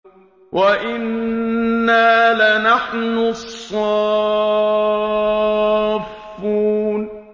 وَإِنَّا لَنَحْنُ الصَّافُّونَ